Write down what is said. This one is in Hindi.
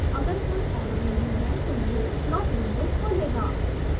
अगर कोई एरर नहीं है तो यह plot window खोलेगा